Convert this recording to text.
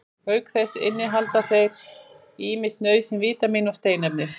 auk þess innihalda þeir ýmis nauðsynleg vítamín og steinefni